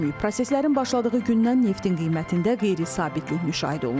Proseslərin başladığı gündən neftin qiymətində qeyri-sabitlik müşahidə olundu.